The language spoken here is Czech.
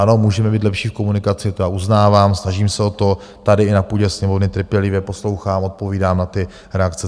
Ano, můžeme být lepší v komunikaci, to já uznávám, snažím se o to, tady, i na půdě Sněmovny trpělivě poslouchám, odpovídám na ty reakce.